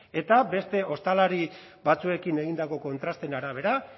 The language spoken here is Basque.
eta beste ostalari batzuekin egindako kontrasteen arabera